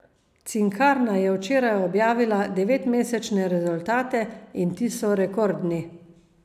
Cinkarna je včeraj objavila devetmesečne rezultate, in ti so rekordni.